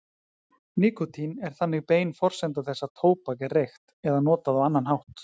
Nikótín er þannig bein forsenda þess að tóbak er reykt eða notað á annan hátt.